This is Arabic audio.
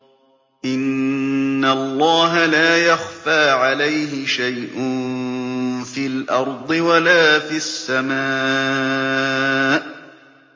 إِنَّ اللَّهَ لَا يَخْفَىٰ عَلَيْهِ شَيْءٌ فِي الْأَرْضِ وَلَا فِي السَّمَاءِ